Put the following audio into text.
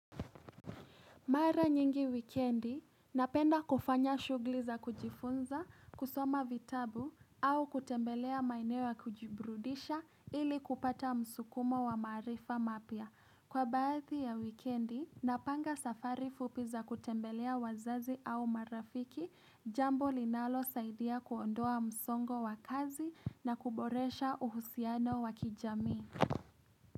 Mara nyingi wikiendi, napenda kufanya shughuli za kujifunza, kusoma vitabu, au kutembelea maeneo ya kujibrudisha ili kupata msukumo wa maarifa mapya. Kwa baadhi ya wikiendi, napanga safari fupi za kutembelea wazazi au marafiki, jambo linalo saidia kuondoa msongo wa kazi na kuboresha uhusiano wakijamii.